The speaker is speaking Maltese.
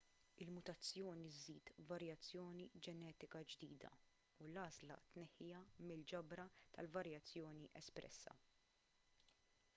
il-mutazzjoni żżid varjazzjoni ġenetika ġdida u l-għażla tneħħiha mill-ġabra ta' varjazzjoni espressa